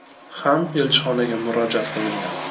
ham elchixonaga murojaat qilgan.